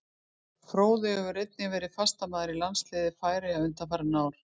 Fróði hefur einnig verið fastamaður í landsliði Færeyja undanfarin ár.